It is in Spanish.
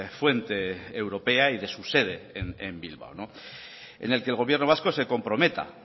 fuente europea y su sede en bilbao en el que gobierno vasco se comprometa